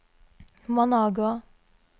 Managua